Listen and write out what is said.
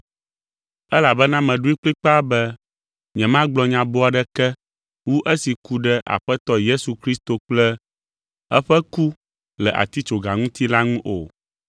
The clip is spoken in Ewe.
elabena meɖoe kplikpaa be nyemagblɔ nya boo aɖeke wu esi ku ɖe Aƒetɔ Yesu Kristo kple eƒe ku le atitsoga ŋuti la ŋu o.